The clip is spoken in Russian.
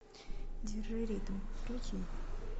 держи ритм включи